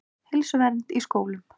Heilsuvernd í skólum.